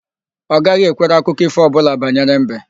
Ọ gaghị ekwere akụkọ ífò ọbụla banyere mbe.